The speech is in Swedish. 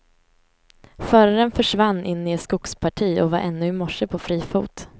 Föraren försvann in i ett skogsparti och var ännu i morse på fri fot.